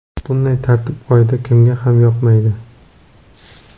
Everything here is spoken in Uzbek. Bunday tartib-qoida kimga ham yoqmaydi!